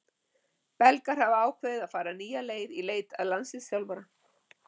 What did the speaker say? Belgar hafa ákveðið að fara nýja leið í leit að landsliðsþjálfara.